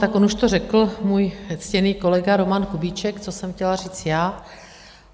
Tak on už to řekl můj ctěný kolega Roman Kubíček, co jsem chtěla říct já.